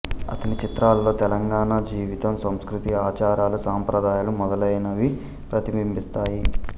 అతని చిత్రాలలో తెలంగాణ జీవితం సంస్కృతి ఆచారాలు సంప్రదాయాలు మొదలైనవి ప్రతిబింబిస్తాయి